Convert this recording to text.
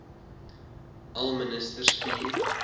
al minstens vier